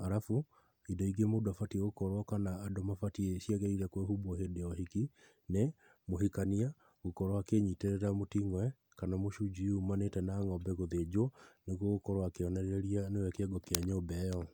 arabu indo ingĩ mũndũ abatiĩ gũkorwo kana ciagĩrĩire kwĩhumbwo hĩndĩ ya ũhik,i nĩ mũhikania gũkorwo akĩnyitĩrĩra mũting'oe kana mũcunjui ũmanĩte na ng'ombe gũthĩnjwo, nĩguo gũkorwo akĩonereria nĩwe kĩongo kĩa nyũmba ĩyo.